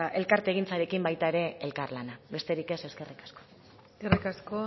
bueno elkartegintzarekin baita ere elkarlana besterik ez eskerrik asko eskerrik asko